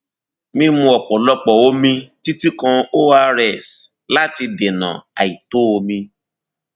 mímu ọpọlọpọ omi títí kan ors láti dènà àìtó omi